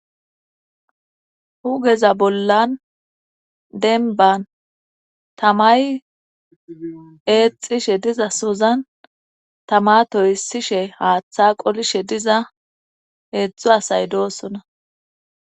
hugeza bollan denban tamay eexishe diza sozan tama toysishe haaththa qolishe diza eedzdzo asay doosona